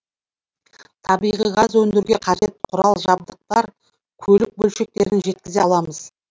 табиғи газ өндіруге қажет құрал жабдықтар көлік бөлшектерін жеткізе аламыз